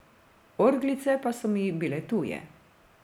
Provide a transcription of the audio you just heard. Orglice pa so mi bile tuje.